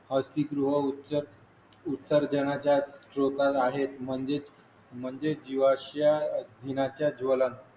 औद्दिक गृह उच्च उत्सर्जनाच्या स्त्रोतात आहेत म्हणजेच म्हणजेच जीवाच्या दिनाच्या ज्वलन